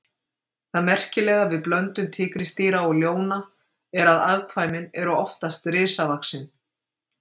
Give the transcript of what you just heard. Það merkilega við blöndun tígrisdýra og ljóna er að afkvæmin eru oftast risavaxin.